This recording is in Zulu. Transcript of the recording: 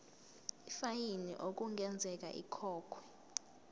ifayini okungenzeka ikhokhwe